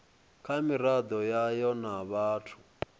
kha miraḓo yayo na vhathu